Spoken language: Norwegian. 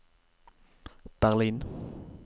Berlin